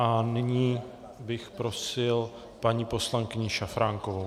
A nyní bych prosil paní poslankyni Šafránkovou.